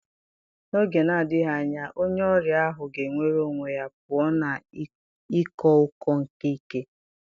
N'oge na-adịghị anya, onye ọrịa ahụ ga-enwere onwe ya pụọ na ịko ụkọ nke ike.